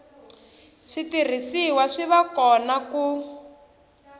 switirhisiwa swi va kona ku